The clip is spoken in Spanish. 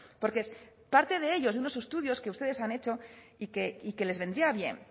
porque es parte de ellos de unos estudios que ustedes han hecho y que les vendría bien